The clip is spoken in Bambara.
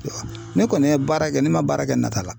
Ne kɔni ye baara kɛ ne man baara kɛ nata la.